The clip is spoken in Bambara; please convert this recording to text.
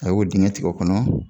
A y'o dingɛ tigɛ o kɔnɔ.